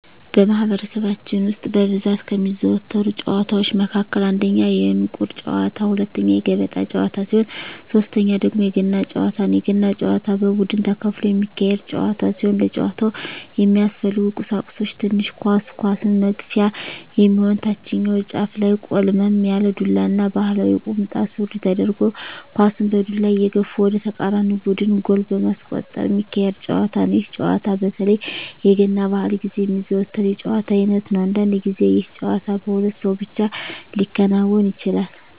በማህበረሰባችን ውስጥ በብዛት ከሚዘወተሩ ጨዋታወች መካከል አንደኛ የእንቁር ጨዋታ፣ ሁለተኛ የገበጣ ጨዋታ ሲሆን ሶተኛው ደግሞ የገና ጨዋታ ነው። የገና ጨዋታ በቡድን ተከፍሎ የሚካሄድ ጨዋታ ሲሆን ለጨዋታው የሚያስፈልጉ ቀሳቁሶች ትንሽ ኳስ፣ ኳሷን መግፊያ የሚሆን ታችኛው ጫፉ ላይ ቆልመም ያለ ዱላ እና ባህላዊ ቁምጣ ሱሪ ተደርጎ ኳሳን በዱላ እየገፉ ወደ ተቃራኒ ቡድን ጎል በማስቆጠር ሚካሄድ ጨዋታ ነው። ይህ ጨዋታ በተለይ የገና በአል ግዜ የሚዘወተር የጨዋታ አይነት ነው። አንዳንድ ግዜ ይህ ጨዋታ በሁለት ሰው ብቻ ሊከናወን ይችላል።